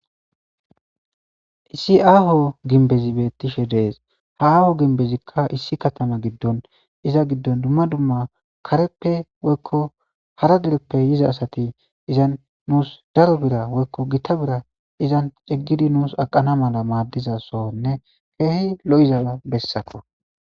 issi aaho ginbezi beettishe dees ha aaho ginbezikka issi katama giddon iza giddon dumma dumma kareppe woykko hara dereppe yiza asati izan nuus daro bira woykko gitta bira izan xiggidi nuus aqana mala maaddizasonne keehi lo7izada bessako